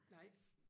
nej